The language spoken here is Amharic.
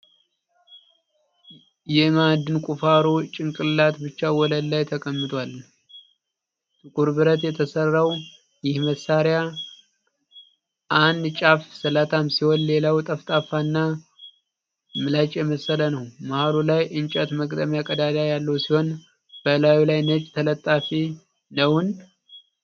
የማዕድን ቁፋሮ (pickaxe) ጭንቅላት ብቻ ወለል ላይ ተቀምጧል። ጥቁር ብረት የተሠራው ይህ መሳሪያ አንድ ጫፍ ስለታም ሲሆን፣ ሌላው ጠፍጣፋና ምላጭ የመሰለ ነው። መሀሉ ላይ እንጨት መግጠሚያ ቀዳዳ ያለው ሲሆን፣ በላዩ ላይ ነጭ ተለጣፊ ነውን?